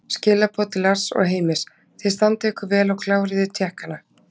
Skilaboð til Lars og Heimis: Þið standið ykkur vel og kláriði Tékkana!